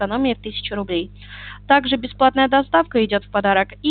экономия в тысячу рублей также бесплатная доставка идёт и